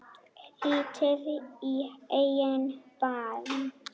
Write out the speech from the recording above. Lítið í eigin barm.